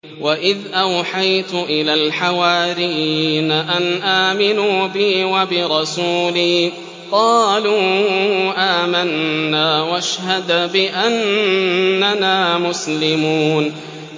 وَإِذْ أَوْحَيْتُ إِلَى الْحَوَارِيِّينَ أَنْ آمِنُوا بِي وَبِرَسُولِي قَالُوا آمَنَّا وَاشْهَدْ بِأَنَّنَا مُسْلِمُونَ